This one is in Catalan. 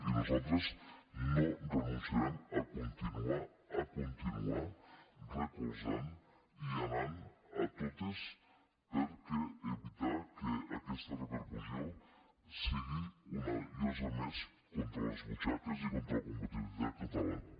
i nosaltres no renunciarem a continuar a continuar recolzant i anant a totes per evitar que aquesta repercussió sigui una llosa més contra les butxaques i contra la competitivitat catalana